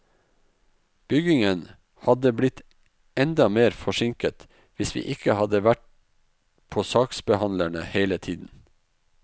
Byggingen hadde blitt enda mer forsinket hvis vi ikke hadde vært på saksbehandlerne hele tiden.